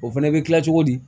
O fɛnɛ bɛ kila cogo di